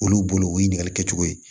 Olu bolo o ye ɲininkali kɛcogo ye